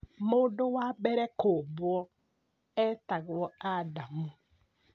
Mũndũ wa mbere kũũmbwo etagwo Adamu